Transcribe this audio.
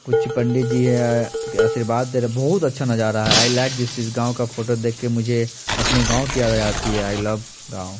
कुछ पंडित जी हैं आशीर्वाद दे रहे हैं बहुत अच्छा नजारा हैं आई लाइक दिस इस फोटो को देख के मुझे अपने गाँव की याद आ जाती हैं आई लव गाँव--